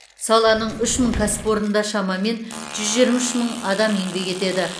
саланың үш мың кәсіпорнында шамамен жүз жиырма үш мың адам еңбек етеді